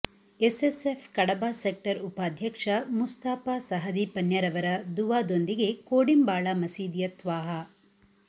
SSF Kadaba sector ಉಪಾಧ್ಯಕ್ಷ ಮುಸ್ತಾಪ ಸಹದಿ ಪನ್ಯರವರ ದುಃವಾದೊಂದಿಗೆ ಕೋಡಿಂಬಾಳ ಮಸೀದಿಯ ತ್ವಾಹ